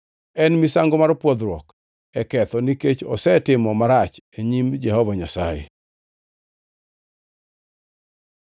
En misango mar pwodhruok e ketho; nikech osetimo marach e nyim Jehova Nyasaye.”